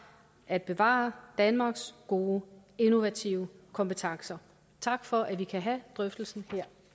at bevare danmarks gode innovative kompetencer tak for at vi kan have drøftelsen her